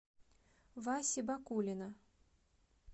васи бакулина